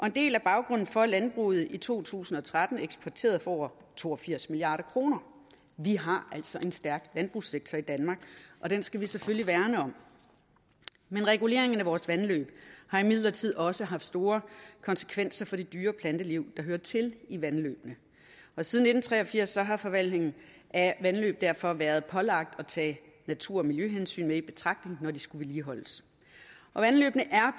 en del af baggrunden for at landbruget i to tusind og tretten eksporterede for over to og firs milliard kroner vi har altså en stærk landbrugssektor i danmark og den skal vi selvfølgelig værne om men reguleringen af vores vandløb har imidlertid også haft store konsekvenser for det dyre og planteliv der hører til i vandløbene siden nitten tre og firs har forvaltningen af vandløb derfor været pålagt at tage natur og miljøhensyn med i betragtning når de skulle vedligeholdes vandløbene er